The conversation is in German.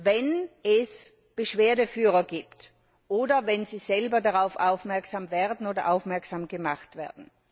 Wenn es Beschwerdeführer gibt oder wenn sie selber darauf aufmerksam wird oder aufmerksam gemacht wird.